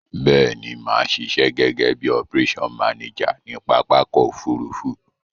Béèni, màá sisẹ́ gégé bi operation manager ni pápákò òfurufú